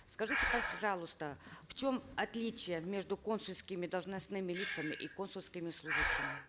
скажите пожалуйста в чем отличие между консульскими должностными лицами и консульскими служащими